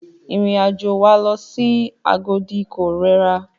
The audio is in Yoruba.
Ìrìn àjò wa lọ sí Agodi ko rẹra.